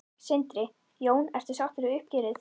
Sindri: Jón, ertu sáttu við uppgjörið?